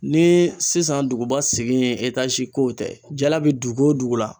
Ni sisan duguba segi kow tɛ jala be dugu o dugu la